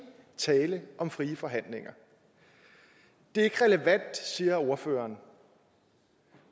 tale om frie forhandlinger det er ikke relevant siger ordføreren